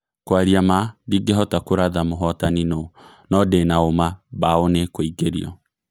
" Kwaria maa, ndĩngĩhota kũratha mũhotani nũũ - no ndĩna ũũma mbaũ nĩ ikũingĩrio.